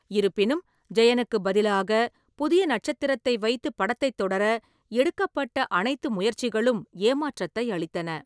இருப்பினும், ஜெயனுக்கு பதிலாக புதிய நட்சத்திரத்தை வைத்து படத்தைத் தொடர எடுக்கப்பட்ட அனைத்து முயற்சிகளும் ஏமாற்றத்தை அளித்தன.